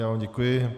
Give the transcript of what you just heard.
Já vám děkuji.